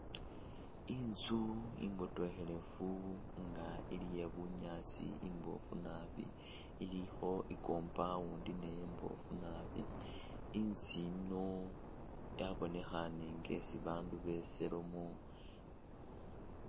Intsu imbotokhelefu inga ili yebunyasi imboofu naabi ilikho i'compound naye imbofu naabi, intsu yino yabonekhane inga yesi abandu beselamo.